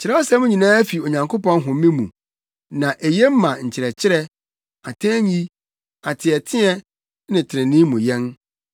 Kyerɛwsɛm nyinaa fi Onyankopɔn home mu, na eye ma nkyerɛkyerɛ, atɛnyi, ateɛteɛ ne trenee mu yɛn,